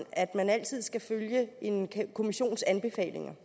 at man altid skal følge en kommissions anbefalinger